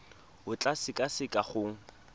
o tla e sekaseka go